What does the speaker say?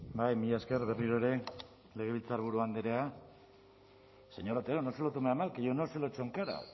bai mila esker berriro ere legebiltzarburu andrea señor otero no se lo tome a mal que yo no se lo echo en cara